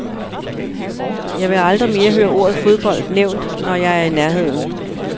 Jeg vil aldrig mere høre ordet fodbold nævnt, når jeg er i nærheden.